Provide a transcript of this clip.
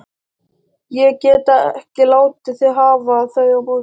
Ég get ekki látið þig hafa þau á morgun